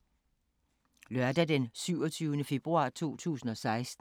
Lørdag d. 27. februar 2016